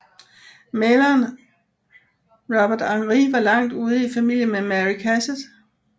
Maleren Robert Henri var langt ude i familie med Mary Cassatt